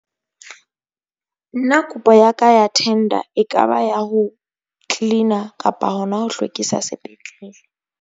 Nna kopo ya ka ya thenda ekaba ya ho clean-a kapa hona ho hlwekisa sepetlele.